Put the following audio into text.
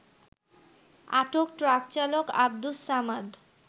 আটক ট্রাকচালক আব্দুস সামাদ